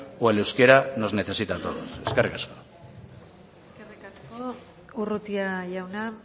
o el euskera nos necesita a todos eskerrik asko eskerrik asko urrutia jauna